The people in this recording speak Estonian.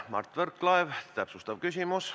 Mart Võrklaev, täpsustav küsimus.